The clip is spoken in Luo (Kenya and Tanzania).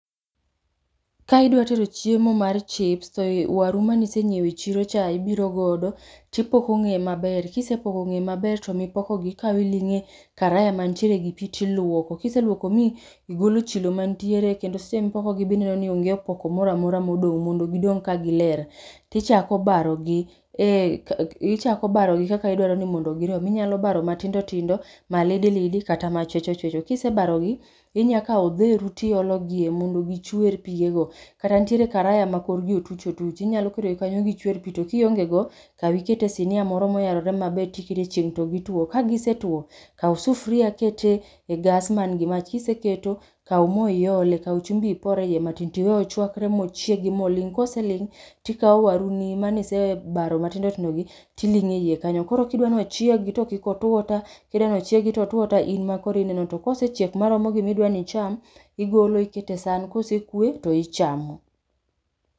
Ka idwa tedo chiemo mar chips to waru mane isenyiewo e chirocha ibiro godo to ipoko ng'eye maber to mipokogi ikawo iling'o e karaya mantiere gi pi to iluoko. Ka iseluoko ma igolo chilo mantiere kendo sama iluokogi be ineno ni onge opoko moro amora ma odong' mondo gidong' kagiler to ichako barogi. Ichako barogi ee ichako barogi kaka idwaro ni mondo girom, inyalo barogi matindo tindo, malidi lidi kata machwecho chwecho. Kisebarogi to inyalo kawo odheru to iologie mondo gichwer pigego, kanitiere karaya makore otuch otuch inyalo ketogie, iweyogi kanyo mondo gichwer to kionge go to kaw iket e sinia moro moyarore maber, tiketo e chieng' to gitwo ka gisetuo, kaw sufuria iket e gas man gi mach kiseketo to kaw mo iolie to gi chumbi ipor eiye matin to iwe ochuakre mochiegi moling' kaeto ikawo waruni mise baro matindo tindo gi to iling'o eiye kanyo. Koro kidwa ni ochiegi to otwo ta to in ema koro ineno to kosechiek maromo gi ma idwa ni icham, igolo iketo e san, kosekwe to ichamo.